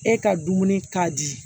E ka dumuni ka di